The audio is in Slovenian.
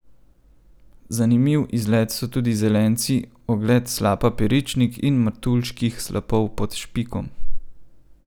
Zanimiv izlet so tudi Zelenci, ogled slapa Peričnik ali Martuljških slapov pod Špikom.